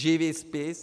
Živý spis.